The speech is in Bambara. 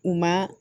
U ma